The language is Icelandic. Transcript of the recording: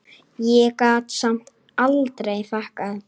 Ég gat samt aldrei þakkað